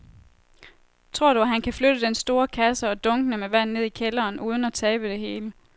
Tror du, at han kan flytte den store kasse og dunkene med vand ned i kælderen uden at tabe det hele?